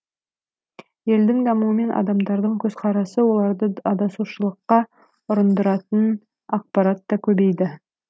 елдің дамуымен адамдардың көзқарасы оларды адасушылыққа ұрындыратын ақпарат та көбейді